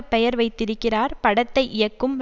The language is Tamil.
பெயர் வைத்திருக்கிறார் படத்தை இயக்கும்ர